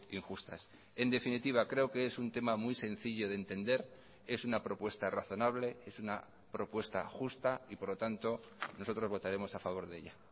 injustas en definitiva creo que es un tema muy sencillo de entender es una propuesta razonable es una propuesta justa y por lo tanto nosotros votaremos a favor de ella